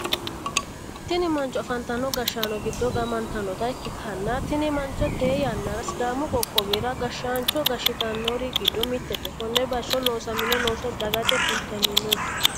tini mancho afantino gashshaano giddo gaamantannota ikkitanna, tini mancho tee yannara sidaamu qoqqowira gashshaancho gashshitannori giddo mittete, konne bayicho loosamino looso dagate kultanni no.